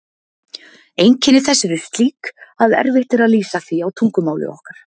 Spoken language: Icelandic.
Einkenni þess eru slík að erfitt er að lýsa því á tungumáli okkar.